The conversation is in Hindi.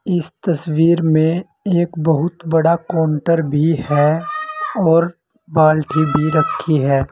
इस तस्वीर में एक बहुत बड़ा काउंटर भी है और बाल्टी भी रखी है।